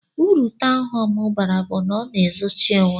Uru tọwnu hóme bara bu na ọna ezochi onwe.